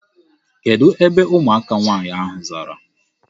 Kedụ ebe ụmụaka nwaanyị ahụ zara?